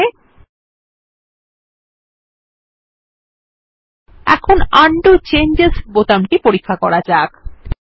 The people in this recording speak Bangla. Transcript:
ঠিক আছে এখন উন্ডো চেঞ্জেস বোতাম টি পরীক্ষা করা যাক